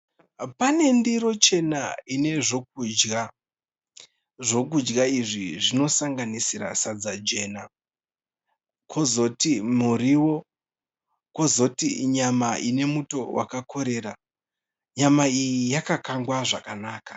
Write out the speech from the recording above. Pane ndiro chena ine zvokudya. Zvokudya izvi zvinosanganisira sadza jena , Kozoti muriwo, kuzoti nyama ine muto wakakorera. Nyama iyi yakakangwa zvakanaka.